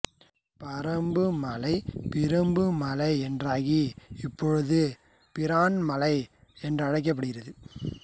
பறம்புமலை பிறம்பு மலை என்றாகி இப்பொழுது பிரான்மலை என்று அழைக்கப்படுகிறது